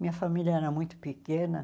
Minha família era muito pequena.